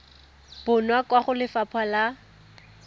bonwa kwa go lefapha la